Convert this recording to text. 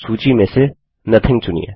सूची में से नोथिंग चुनिए